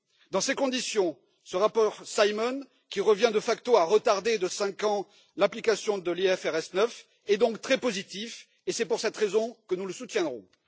Dans ces conditions, ce rapport Simon, qui revient de facto à retarder de cinq ans l'application de l'IFRS 9, est donc très positif et c'est pour cette raison que nous le soutiendrons.